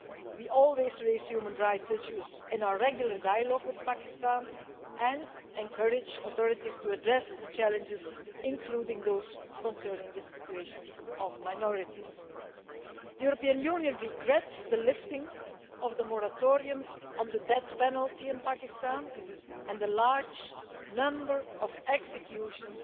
We always raise human rights issues in our regular dialogue with Pakistan and encourage authorities to address the challenges, including those concerning the situation of minorities. The European Union regrets the lifting of the moratorium on the death penalty in Pakistan and the large number of executions